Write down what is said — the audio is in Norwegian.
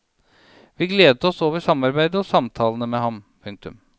Vi gledet oss over samarbeidet og samtalene med ham. punktum